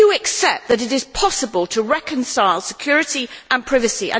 Do you accept that it is possible to reconcile security and privacy?